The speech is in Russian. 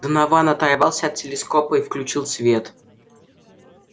донован оторвался от телескопа и включил свет